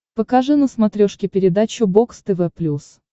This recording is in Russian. покажи на смотрешке передачу бокс тв плюс